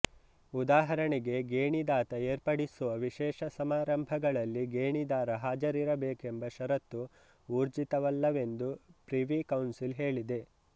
ಉದಾಹರಣೆಗಾಗಿ ಗೇಣಿದಾತ ಏರ್ಪಡಿಸುವ ವಿಶೇಷ ಸಮಾರಂಭಗಳಲ್ಲಿ ಗೇಣಿದಾರ ಹಾಜರಿರಬೇಕೆಂಬ ಷರತ್ತು ಊರ್ಜಿತವಲ್ಲವೆಂದು ಪ್ರಿವಿ ಕೌನ್ಸಿಲ್ ಹೇಳಿದೆ